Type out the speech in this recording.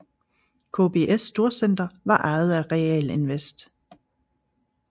KBS storcenter var ejet af Realinvest